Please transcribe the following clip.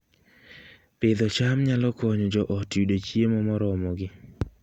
Pidho cham nyalo konyo joot yudo chiemo moromogi